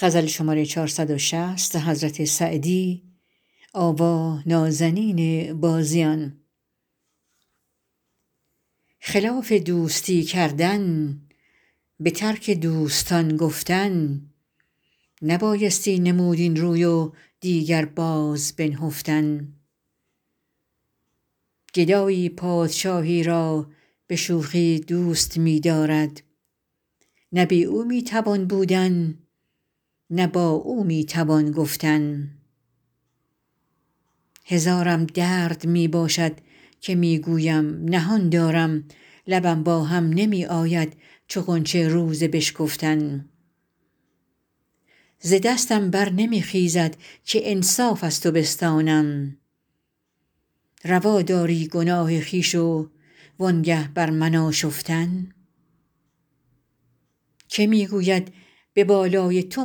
خلاف دوستی کردن به ترک دوستان گفتن نبایستی نمود این روی و دیگر باز بنهفتن گدایی پادشاهی را به شوخی دوست می دارد نه بی او می توان بودن نه با او می توان گفتن هزارم درد می باشد که می گویم نهان دارم لبم با هم نمی آید چو غنچه روز بشکفتن ز دستم بر نمی خیزد که انصاف از تو بستانم روا داری گناه خویش و آنگه بر من آشفتن که می گوید به بالای تو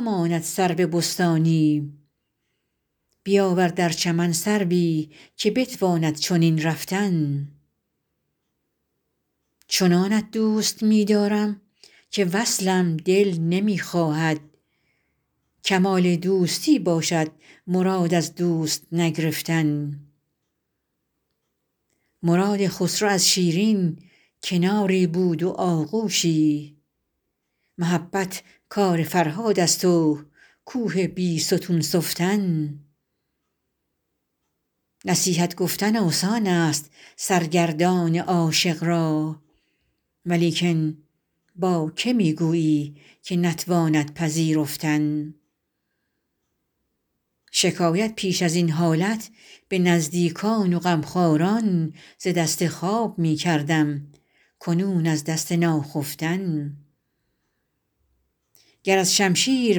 ماند سرو بستانی بیاور در چمن سروی که بتواند چنین رفتن چنانت دوست می دارم که وصلم دل نمی خواهد کمال دوستی باشد مراد از دوست نگرفتن مراد خسرو از شیرین کناری بود و آغوشی محبت کار فرهاد است و کوه بیستون سفتن نصیحت گفتن آسان است سرگردان عاشق را ولیکن با که می گویی که نتواند پذیرفتن شکایت پیش از این حالت به نزدیکان و غمخواران ز دست خواب می کردم کنون از دست ناخفتن گر از شمشیر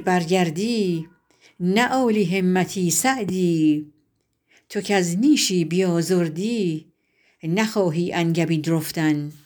برگردی نه عالی همتی سعدی تو کز نیشی بیازردی نخواهی انگبین رفتن